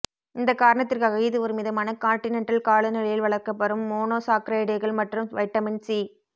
இந்த காரணத்திற்காக இது ஒரு மிதமான கான்டினென்டல் காலநிலையில் வளர்க்கப்படும் மோனோசாக்கரைடுகள் மற்றும் வைட்டமின் சி